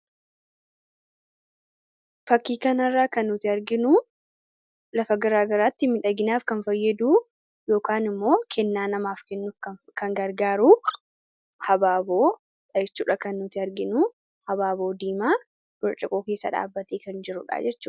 fakkii kana irraa kan nuti arginuu lafa garaagaraatti midhaaginaaf kan fayyaduu yookan immoo kennaa namaaf kennuuf kan gargaaru abaaboo dha jechuudha kan nuti arginuu abaaboo diimaa burciqoo keessa dhaabbatee kan jirudha jechudha